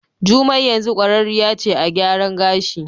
Jumai yanzu kwararriya ce a gyaran gashi.